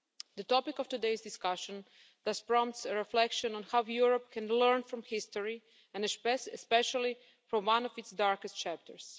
The topic of today's discussion thus prompts a reflection on how Europe can learn from history and especially from one of its darkest chapters.